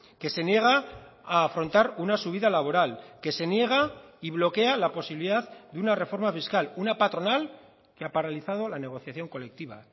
que se niega a afrontar una subida laboral que se niega y bloquea la posibilidad de una reforma fiscal una patronal que ha paralizado la negociación colectiva